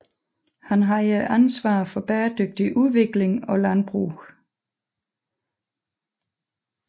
Han havde ansvaret for bæredygtig udvikling og landbrug